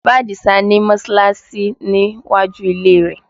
Bàbá Adisa ni Mọ́sọ́láásí ní iwájú ilé rẹ̀